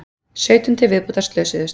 Sautján til viðbótar slösuðust